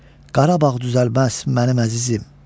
Qarabağ düzəlməz mənim əzizim.